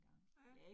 Ja